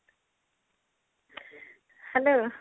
hello